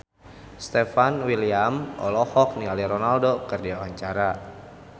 Stefan William olohok ningali Ronaldo keur diwawancara